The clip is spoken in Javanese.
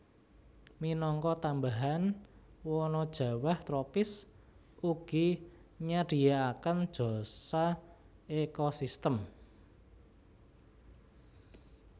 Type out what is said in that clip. Minangka tambahan wana jawah tropis ugi nyadhiaaken jasa ekosistem